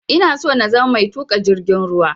Ina so na zama mai tuƙa jirgin ruwa